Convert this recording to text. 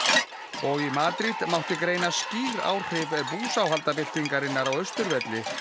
og í Madrid mátti greina skýr áhrif búsáhaldabyltingarinnar á Austurvelli